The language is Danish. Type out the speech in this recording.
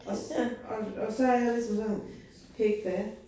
Og så, og så er jeg altid lige sådan hej då